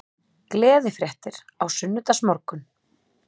Gleðifréttir á sunnudagsmorgun